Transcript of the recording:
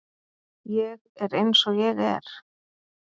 Ég er eins og ég er.